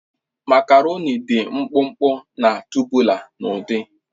Makaroni dị mkpụmkpụ na tubular n'ụdị